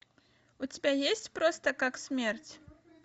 у тебя есть просто как смерть